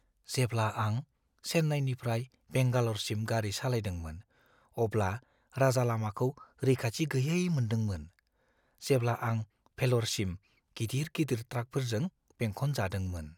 जेब्ला आं चेन्नाईनिफ्राय बेंगाल'रसिम गारि सालायदोंमोन, अब्ला राजालामाखौ रैखाथि गैयै मोनदोंमोन, जेब्ला आं भेल'रसिम गिदिर-गिदिर ट्राकफोरजों बेंखन जादोंमोन।